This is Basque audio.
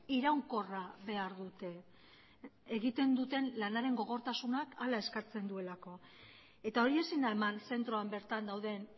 iraunkorra behar dute egiten duten lanaren gogortasunak hala eskatzen duelako eta hori ezin da eman zentroan bertan dauden